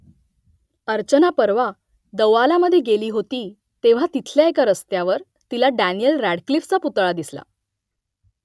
अर्चना परवा दौआलामध्ये गेली होती तेव्हा तिथल्या एका रस्त्यावर तिला डॅनियेल रॅडक्लिफचा पुतळा दिसला